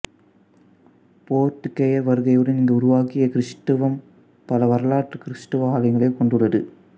போர்த்துக்கேயர் வருகையுடன் இங்கு உருவாகிய கிறிஸ்தவம் பல வரலாற்று கிறிஸ்தவ ஆலயங்களைக் கொண்டுள்ளது